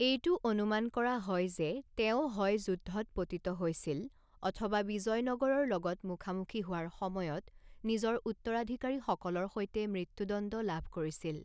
এইটো অনুমান কৰা হয় যে তেওঁ হয় যুদ্ধত পতিত হৈছিল অথবা বিজয়নগৰৰ লগত মুখামুখী হোৱাৰ সময়ত নিজৰ উত্তৰাধিকাৰীসকলৰ সৈতে মৃত্যুদণ্ড লাভ কৰিছিল।